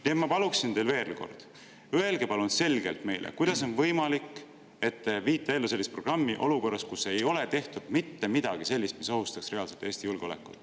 Nii et ma palun veel kord: palun öelge meile selgelt, kuidas on võimalik, et te viite ellu sellist programmi olukorras, kus ei ole tehtud mitte midagi sellist, mis reaalselt ohustaks Eesti julgeolekut.